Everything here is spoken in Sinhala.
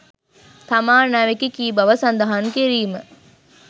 තමා අනාවැකි කී බව සදහන් කිරීම